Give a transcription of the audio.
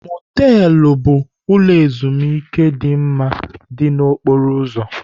Motelụ bụ ụlọ ezimuike dị mma dị na okporo ụzọ.